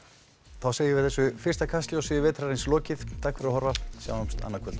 þá segjum við þessu fyrsta Kastljósi vetrarins lokið takk fyrir að horfa sjáumst annað kvöld